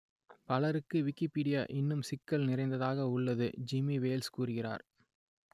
பலருக்கு விக்கிப்பீடியா இன்னும் சிக்கல் நிறைந்ததாக உள்ளது ஜிம்மி வேல்ஸ் கூறுகிறார்